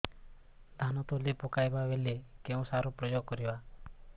ଧାନ ତଳି ପକାଇବା ବେଳେ କେଉଁ ସାର ପ୍ରୟୋଗ କରିବା